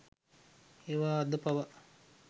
ඒවා අද පවා